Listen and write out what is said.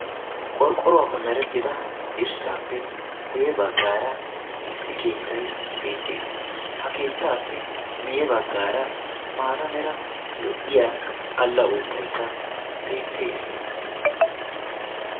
Qorqqoruwaappe merettida dirssaappe guyye baggaara issi keettay beettees. ha keettapee miye baggaara mata mera lo'iyaa alla uuttaykka beettees.